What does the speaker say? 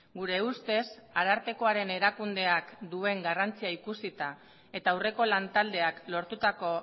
gure ustez arartekoaren erakundeak duen garrantzia ikusita eta aurreko lantaldeak lortutako